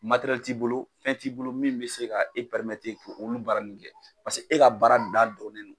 t'i bolo fɛn t'i bolo min bɛ se ka e k' olu baara nunnu kɛ pase e ka baara da dɔnnen don.